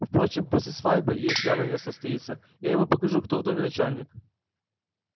впрочем после свадьбы если она не состоится я ему покажу кто в доме начальник